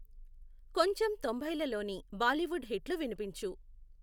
కొంచెం తొంభైలలోని బాలీవుడ్ హిట్లు వినిపించు